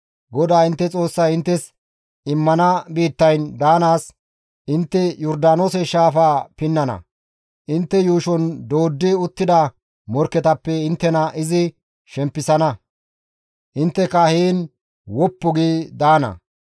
GODAA intte Xoossay inttes immana biittayn daanaas intte Yordaanoose shaafaa pinnana; intte yuushon dooddi uttida morkketappe inttena izi shempisana; intteka heen woppu gi daana.